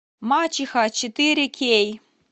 мачеха четыре кей